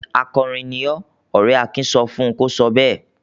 "Akọrin ni ọ́!" Ọ̀rẹ́ Akin sọ fún un kó sọ bẹ́ẹ̀.